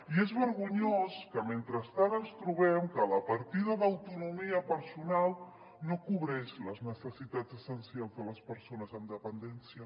i és vergonyós que mentrestant ens trobem que la partida d’autonomia personal no cobreix les necessitats essencials de les persones amb dependència